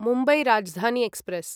Mumbai Rajdhani express